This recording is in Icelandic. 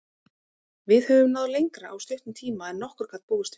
Við höfum náð lengra á stuttum tíma en nokkur gat búist við.